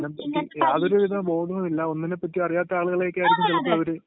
പിന്ന..യാതൊരു വിധ ബോധവുമില്ല, ഒന്നിനേപ്പറ്റിയും അറിയാത്ത ആളുകളെ ഒക്കെയായിരിക്കും ചിലപ്പോ ഇവര്